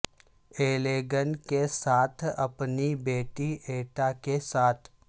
ایلیگ ن کے ساتھ اپنی بیٹی ایٹا کے ساتھ